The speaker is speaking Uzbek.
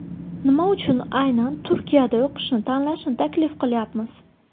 Nima uchun aynan Turkiyada o‘qishni tanlashni taklif qilyapmiz?